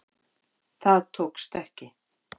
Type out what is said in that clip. Það tókst ekki.